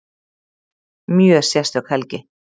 Mjög sérstök helgi